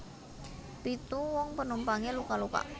Pitu wong penumpange luka luka